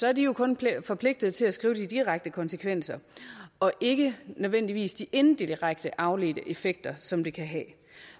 er de kun forpligtet til at skrive de direkte konsekvenser og ikke nødvendigvis de inddirekte afledte effekter som det kan have